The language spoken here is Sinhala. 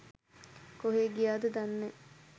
කොහේ ගියාද දන්නෑ.